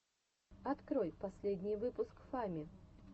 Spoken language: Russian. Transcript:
открой последний выпуск фами